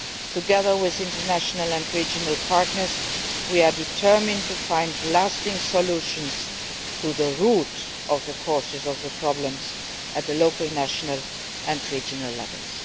Together with international and regional partners, we are determined to find lasting solutions to the root of the causes of the problems at the local, national and regional levels.